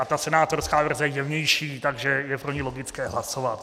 A ta senátorská verze je jemnější, takže je pro ni logické hlasovat.